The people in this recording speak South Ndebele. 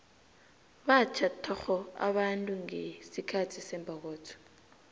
batjha thokgo abantu ngesikhathi sembokotho